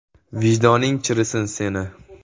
Vijdoning chirisin seni.